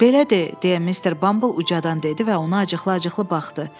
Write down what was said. Belə de, deyə Mr. Bumble ucadan dedi və ona acıqlı-acıqlı baxdı.